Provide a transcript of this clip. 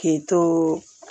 K'i to